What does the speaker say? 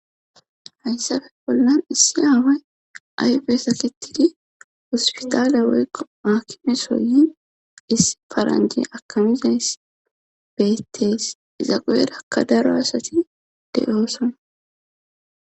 Hayssafe bollan issi aaway ayfe sakettidi hosppitaale woykko aakimeso yin issi paranjji akamizayssi beettes;iza guyerakka daro asati de7oosona.